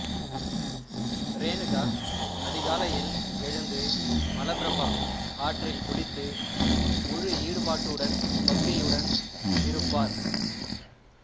ரேணுகா அதிகாலையில் எழுந்து மலபிரபா ஆற்றில் குளித்து முழு ஈடுபாட்டுடனும் பக்தியுடனும் இருப்பார்